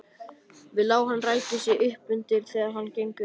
Við lá hann ræki sig uppundir þegar þeir gengu inn.